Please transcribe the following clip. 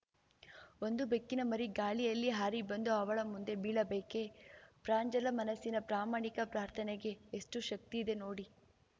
ಒಂದು ಬೆಕ್ಕಿನ ಮರಿ ಗಾಳಿಯಲ್ಲಿ ಹಾರಿಬಂದು ಅವಳ ಮುಂದೆ ಬೀಳಬೇಕೇ ಪ್ರಾಂಜಲ ಮನಸ್ಸಿನ ಪ್ರಾಮಾಣಿಕ ಪ್ರಾರ್ಥನೆಗೆ ಎಷ್ಟುಶಕ್ತಿಯಿದೆ ನೋಡಿ